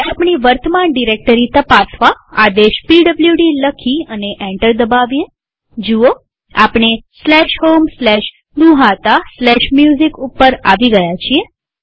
હવે આપણી વર્તમાન ડિરેક્ટરી તપાસવા આદેશ પીડબ્લુડી લખી અને એન્ટર દબાવીએજુઓઆપણે homegnuhataMusic ઉપર આવી ગયા છીએ